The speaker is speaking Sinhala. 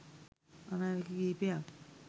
අනාවැකි කිහිපයක්